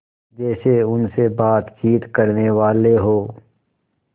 जैसे उनसे बातचीत करनेवाले हों